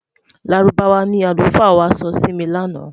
Lárúbáwá ní alufa wà sọ Si mí lànà